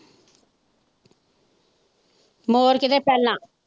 ਮੋਰ ਕਿਤੇ ਪੈਲਾਂ।